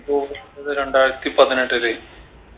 എപ്പൊ അത് രണ്ടായിരത്തി പതിനെട്ടില്